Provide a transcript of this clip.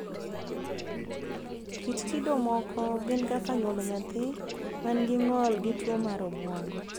Kit kido moko gin kaka nyuolo nyathi ma gi n'gol gi tuo mar obuongo.